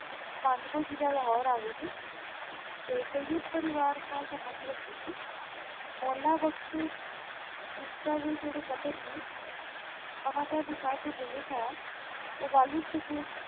ਪੰਡ ਕੋ ਜ਼ਿਲਾਹ ਲਾਹੋਰੇ ਆਗਯਾ ਸੀ ਤੇ ਸਏਦ ਪਰਿਵਾਰ ਨਾਲ ਸੰਬੰਦ ਰਖਦੇ ਸੀ ਮੌਲਾ ਬਕਸ਼ ਪੁਸ਼ਤਾ ਦੇ ਜੇਰੇ ਓਨਾਂ ਦੇ ਅਨੁਸਾਰ ਜੋ ਭੁੱਲੇ ਸ਼ਾਹ ਆਯ ਊ ਵਾਲਿਦ ਸੁਕੀ